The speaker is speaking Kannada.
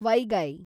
ವೈಗೈ